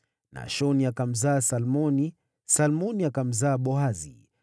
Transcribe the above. Nashoni akamzaa Salmoni, Salmoni akamzaa Boazi,